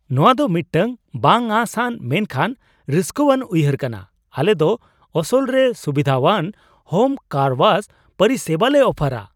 ᱱᱚᱶᱟ ᱫᱚ ᱢᱤᱫᱴᱟᱝ ᱵᱟᱝᱼᱟᱸᱥ ᱟᱱ ᱢᱮᱱᱠᱷᱟᱱ ᱨᱟᱥᱠᱟᱹᱣᱟᱱ ᱩᱭᱦᱟᱹᱨ ᱠᱟᱱᱟ ! ᱟᱞᱮ ᱫᱚ ᱟᱥᱚᱞᱨᱮ ᱥᱩᱵᱤᱫᱷᱟᱣᱟᱱ ᱦᱳᱢ ᱠᱟᱨ ᱳᱣᱟᱥ ᱯᱚᱨᱤᱥᱮᱵᱟᱞᱮ ᱚᱯᱷᱟᱨᱟ ᱾